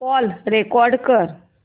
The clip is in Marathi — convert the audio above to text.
कॉल रेकॉर्ड कर